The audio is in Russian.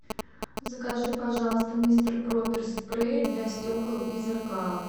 закажи пожалуйста мистер проппер спрей для стекол и зеркал